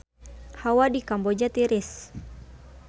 Hawa di Kamboja tiris